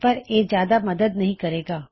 ਪਰ ਇਸ ਨਾਲ ਕੋਈ ਜ਼ਿਆਦਾ ਮਦਦ ਨਹੀ ਮਿਲੇਗੀ